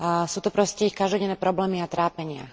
Sú to proste ich každodenné problémy a trápenia.